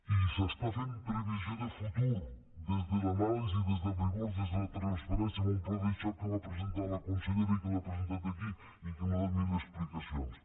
i s’està fent previsió de futur des de l’anàlisi des del rigor des de la transparència amb un pla de xoc que va presentar la consellera i que l’ha presentat aquí i n’ha donat mil explicacions